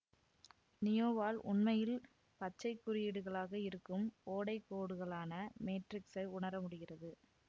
நியோவால் உண்மையில் பச்சை குறியீடுகளாக இருக்கும் ஓடை கோடுகளான மேட்ரிக்ஸை உணர முடிகிறது